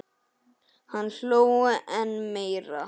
Hann hló enn meira.